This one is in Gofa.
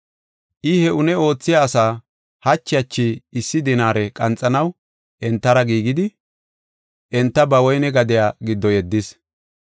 I he une oothiya asa hachi hachi issi dinaare qanxanaw entara giigidi, enta ba woyne gadiya giddo yeddis.